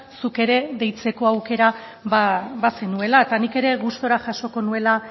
zuk ere deitzeko aukera bazenuela eta nik ere gustura jasoko nuela